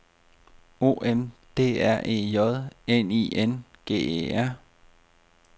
O M D R E J N I N G E R